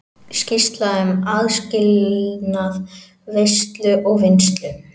Skýrsla um aðskilnað veiða og vinnslu